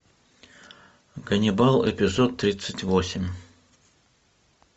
ганнибал эпизод тридцать восемь